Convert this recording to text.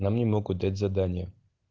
нам не могут дать задания